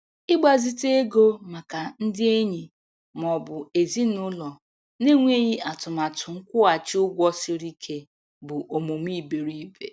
Ịgbazite ego maka ndị enyi ma ọ bụ ezinụlọ na-enweghị atụmatụ nkwụghachi ụgwọ siri ike bụ omume iberiibe.